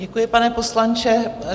Děkuji, pane poslanče.